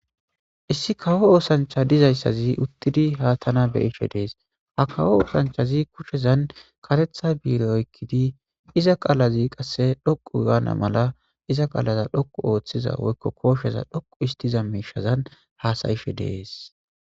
Issi kawo osancha dizaysazi utidi ha tana be'ishe de'es ha kawo osanchazi kushezan karetha bire oykidi iza qalazi qase dhoqu gana mala iza qalaza dhoqu otiza woyko kosheza dhoqu histiza mishazan hasa'ishe de'es.